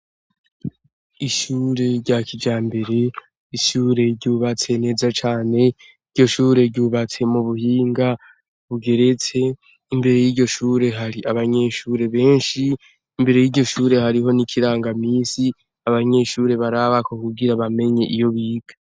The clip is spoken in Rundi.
Ishure rya kijambere, ishure ryubatse neza cane, iryo shure ryubatse mu buhinga bugeretse, imbere y'iryo shure hari abanyeshure benshi, imbere y'iryo shure hariho n'ikirangaminsi, abanyeshure barabako kugira bamenye iyo biga.